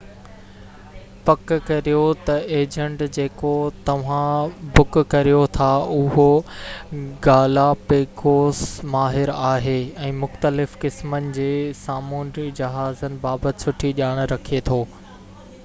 پڪ ڪريو ته ايجنٽ جيڪو توهان بڪ ڪريو ٿا اهو گالاپيگوس ماهر آهي ۽ مختلف قسمن جي سامنونڊي جهازن بابت سٺي ڄاڻ رکي ٿو